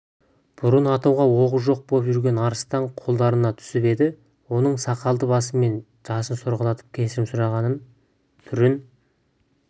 бұрын атуға оғы жоқ боп жүрген арыстан қолдарына түсіп еді оның сақалды басымен жасын сорғалатып кешірім сұраған түрін